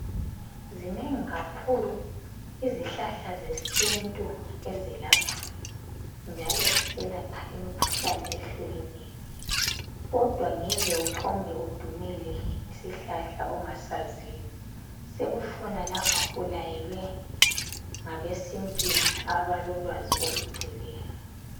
Zinengi kakhulu izihlahla zesintu ezelapha, njalo ziselapha imikhuhlane ehlukeneyo kodwa ngeke uphombe udumele isihlahla ongasaziyo sekufuna lapho ulayelwe ngabesintwini abalolwazi olugcweleyo.